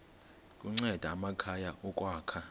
kunceda amakhaya ukwakha